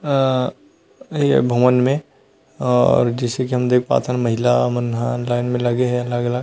आ ये भवन में आ जैसे की हम देख पात हन महिला मनहा लाइन म लगे हे अलग-अलग--